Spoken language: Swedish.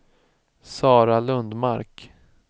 Sara Lundmark